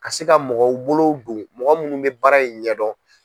Ka se ka mɔgɔw bolow don mɔgɔ munnu bɛ baara in ɲɛdɔn.